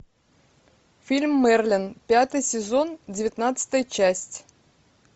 фильм мерлин пятый сезон девятнадцатая часть